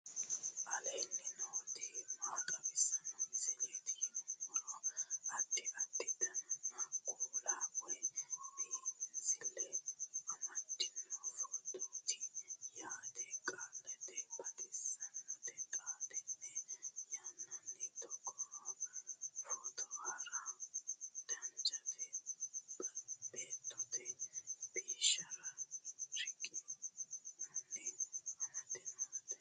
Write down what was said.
aleenni nooti maa xawisanno misileeti yinummoro addi addi dananna kuula woy biinsille amaddino footooti yaate qoltenno baxissannote xa tenne yannanni togoo footo haara danchate beetto bisoho riqqinannita amade noote